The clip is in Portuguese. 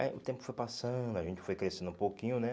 Aí o tempo foi passando, a gente foi crescendo um pouquinho, né?